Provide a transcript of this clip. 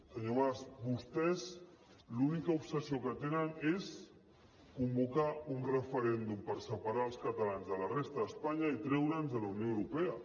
senyor mas vostès l’única obsessió que tenen és convocar un referèndum per separar els catalans de la resta d’espanya i treure’ns de la unió europea